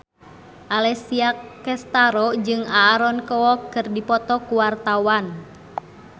Alessia Cestaro jeung Aaron Kwok keur dipoto ku wartawan